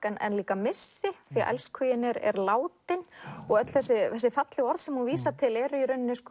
en líka missi því elskhuginn er látinn og öll þessi fallegu orð sem hún vísar til eru